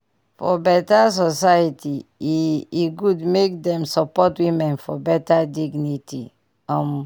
for beta society e e good make dem support women for beta dignity um